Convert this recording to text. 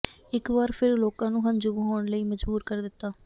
ਇਕ ਵਾਰ ਫਿਰ ਲੋਕਾਂ ਨੂੰ ਹੰਝੂ ਵਹਾਉਣ ਲਈ ਮਜ਼ਬੂਰ ਕਰ ਦਿੱਤਾ